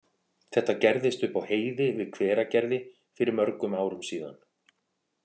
Þetta gerðist upp á heiði við Hveragerði fyrir mörgum árum síðan.